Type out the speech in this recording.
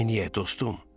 Neynəyək dostum?